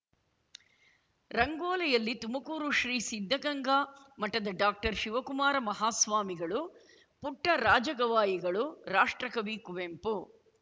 ರಂಗೋಲಿಯಲ್ಲಿ ತುಮಕೂರು ಶ್ರೀ ಸಿದ್ಧಗಂಗಾ ಮಠದ ಡಾಕ್ಟರ್ಶಿವಕುಮಾರ ಮಹಾಸ್ವಾಮಿಗಳು ಪುಟ್ಟರಾಜ ಗವಾಯಿಗಳು ರಾಷ್ಟ್ರಕವಿ ಕುವೆಂಪು